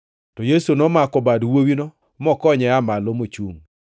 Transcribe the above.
To Yesu nomako bad wuowino mokonye aa malo mochungʼ.